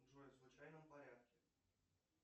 джой в случайном порядке